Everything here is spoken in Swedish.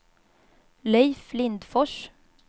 Leif Lindfors